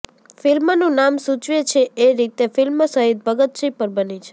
ફિલ્મનું નામ સૂચવે છે એ રીતે ફિલ્મ શહીદ ભગતસિંહ પર બની છે